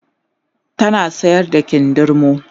tana sayar da kindirmo